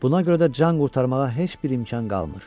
Buna görə də can qurtarmağa heç bir imkan qalmır.